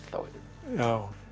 já